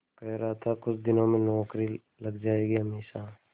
कह रहा था कुछ दिनों में नौकरी लग जाएगी हमेशा